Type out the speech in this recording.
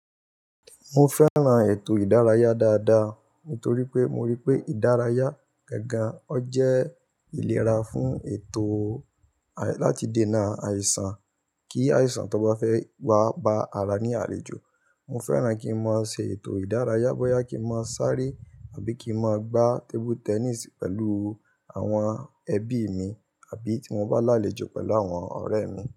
Mo fẹ́ran ètò ìdárayá dáadáa, nítorí pé mo rí pé ìdárayá gangan ó jẹ́ ìlera fún ètò láti dènà àìsàn. Kí àìsàn tó bá fẹ́ wá ba ara ní àlejò. Mo fẹ́ran kí n máa ṣe ètò ìdárayá bóyá kí n máa sáré àbí kí n máa gbá tébú tẹníìsì pẹ̀lú àwọn ẹbí mi àbí tí mo bá lálejò pẹ̀lú àwọn ọ̀rẹ́ mi.